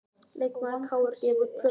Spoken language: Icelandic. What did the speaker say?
Leikmaður KR gefur út plötu